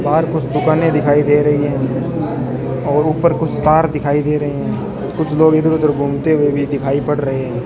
बाहर कुछ दुकाने दिखाई दे रही है और ऊपर कुछ कार दिखाई दे रहे हैं कुछ लोग इधर घूमते हुए भी दिखाई पड़ रहे है।